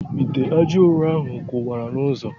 Ite ajaụrọ ahụ kụwara n' ụzọ.